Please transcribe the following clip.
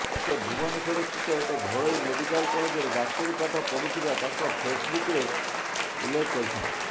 ସେ ଭୁବନେଶ୍ୱର ସ୍ଥିତ ଏକ ଘରୋଇ ମେଡ଼ିକାଲ୍ କଲେଜରେ ଡାକ୍ତରୀ ପାଠ ପଢ଼ୁଥିବା ତାଙ୍କ ଫେସ୍ବୁକ୍ରେ ଉଲ୍ଲେଖ କରିଛନ୍ତି